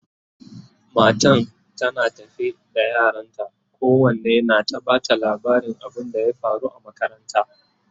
matan tana tafe da yaranta kowanne na ta Bata labarin abun da ya faru a makaranta